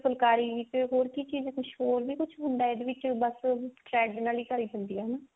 ਫੁਲਕਾਰੀ ਵਿੱਚ ਹੋਰ ਕੀ ਚੀਜ਼ ਕੁਛ ਹੋਰ ਵੀ ਕੁਛ ਹੁੰਦਾ ਇਹਦੇ ਵਿੱਚ ਬਸ thread ਨਾਲ ਹੀ ਭਰੀ ਹੁੰਦੀ ਹੈ